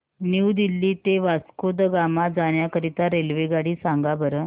new Delhi ते वास्को द गामा जाण्या करीता रेल्वेगाडी सांगा बरं